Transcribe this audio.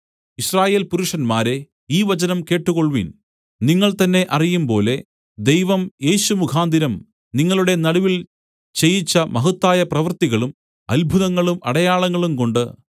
യിസ്രായേൽ പുരുഷന്മാരേ ഈ വചനം കേട്ട് കൊൾവിൻ നിങ്ങൾ തന്നേ അറിയുംപോലെ ദൈവം യേശു മുഖാന്തരം നിങ്ങളുടെ നടുവിൽ ചെയ്യിച്ച മഹത്തായ പ്രവർത്തികളും അത്ഭുതങ്ങളും അടയാളങ്ങളും കൊണ്ട്